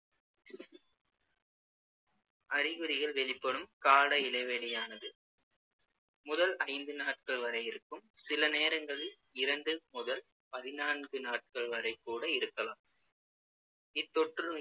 அறிகுறிகள் வெளிப்படும் கால இடைவெளியானது முதல் ஐந்து நாட்கள் வரை இருக்கும் சிலநேரங்களில் இரண்டு முதல் பதினான்கு நாட்கள் வரைக்கூட இருக்கலாம் இத்தொற்றுநோய்க்கு